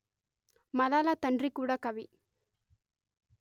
మలాలా తండ్రి కూడా కవి